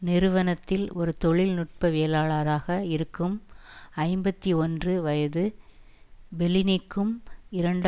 நிறுவனத்தில் ஒரு தொழில்நுட்பவியலாளராக இருக்கும் ஐம்பத்தி ஒன்று வயது பெல்லினிக்கும் இரண்டு